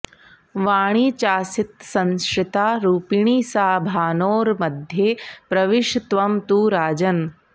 वाणी चासीत्संश्रिता रूपिणी सा भानोर्मध्ये प्रविश त्वं तु राजन्